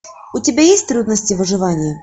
у тебя есть трудности выживания